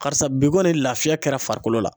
Karisa bi kɔni lafiya kɛra farikolo la.